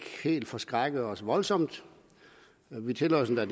ikke forskrækkede os helt voldsomt vi tillod os endda